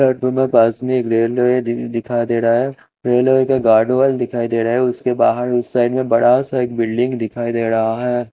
सडको मे पास में एक रेलवे दिख दिखाई दे रहा है रेलवे की गार्डवाल दिखाई दे रहा है उसके बहार उस साइड मे बड़ा सा एक बिल्डिंग दिखाई दे रहा है।